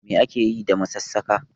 Me ake Yi da masassaka?